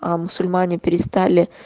а мусульмане перестали